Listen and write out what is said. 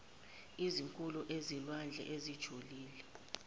ezinkulu ezilwandle ezijulile